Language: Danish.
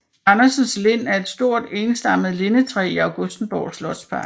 Andersens Lind er et stort enstammet lindetræ i Augustenborg Slotspark